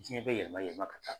Diɲɛ bɛ yɛlɛma yɛlɛma ka taa